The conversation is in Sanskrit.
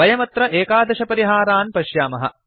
वयमत्र एकादशपरिहारान् पश्यामः